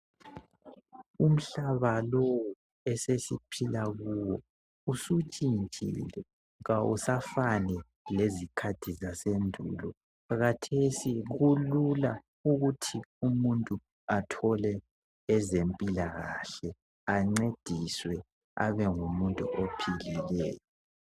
Umhlaba lowu esesiphila kuwo usutshintshile kawusafani lezikhathi zasendulo .Khathesi kulula ukuthi umuntu athole ezempilakahle ancediswe Abe ngumuntu ophilileyo